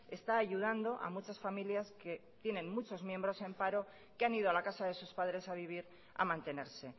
está ayudando a muchas familias que tienen muchos miembros en paro que han ido a la casa de sus padres a vivir a mantenerse